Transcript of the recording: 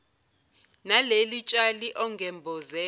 naleli tshali ongemboze